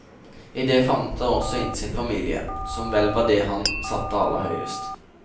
I det favnet han også inn sin familie, som vel var det han satte aller høyest.